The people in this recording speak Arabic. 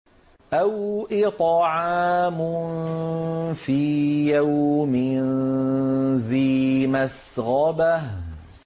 أَوْ إِطْعَامٌ فِي يَوْمٍ ذِي مَسْغَبَةٍ